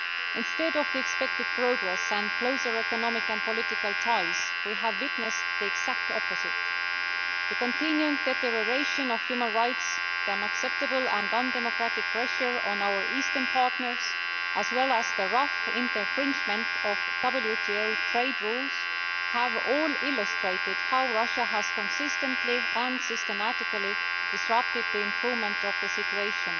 Instead of the expected progress and closer economic and political ties, we have witnessed the exact opposite the continuing deterioration of human nights, the unacceptable and undemocratic pressure on our eastern partners and the rough infringement of WTO trade rules all illustrate how Russia has consistently and systematically disrupted the improvement of the situation.